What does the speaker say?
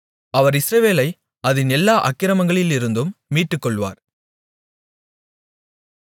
அவர் இஸ்ரவேலை அதின் எல்லா அக்கிரமங்களிலிருந்தும் மீட்டுக்கொள்வார்